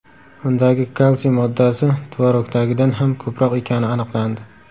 Undagi kalsiy moddasi tvorogdagidan ham ko‘proq ekani aniqlandi.